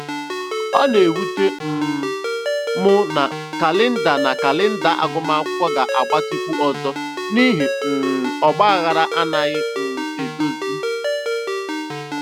Ọ na-ewute um m na kalenda na kalenda agụmakwụkwọ ga-agbatịkwu ọzọ n'ihi um ọgbaghara anaghị um e dozi.